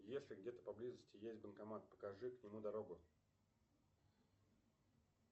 если где то поблизости есть банкомат покажи к нему дорогу